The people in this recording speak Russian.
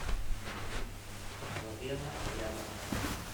лавена рядом